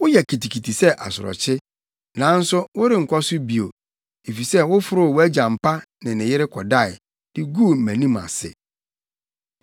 Woyɛ kitikiti sɛ asorɔkye, nanso worenkɔ so bio, efisɛ woforoo wʼagya mpa ne ne yere kɔdae, de guu mʼanim ase.